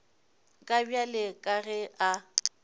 ka bjale ka ge a